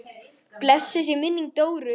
Blessuð sé minning Dóru.